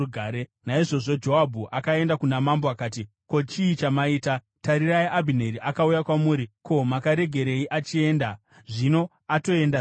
Naizvozvo Joabhu akaenda kuna mambo akati, “Ko, chii chamaita? Tarirai, Abhineri akauya kwamuri. Ko, makaregerei achienda? Zvino atoenda zvake!